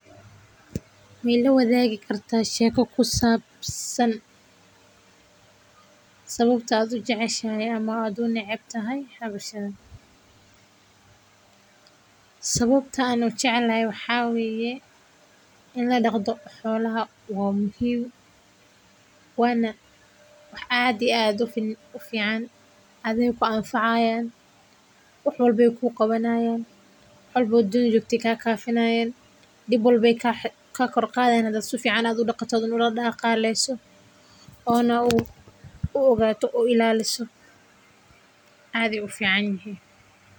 Ma ilawadaagi kartaa sheeko ku saabsan sababta aad u jeceshahay ama u neceb tahay hawshan. Sababta aan u jeclay wax xawiyeen in la dhagdo xulaha uu muhiim waana. Waxa adi aado fi u fiican adeegga anfayaan, uxool bey ku qabanayaan colbood din u jibti kaa kaafinaayeen dhib bolbey kaa kaa korkaadaynada su fiicanu aduu dhaqataan ula dhaqaaleysu oo na u oogato ilaaliso caadi u fiicanyihi.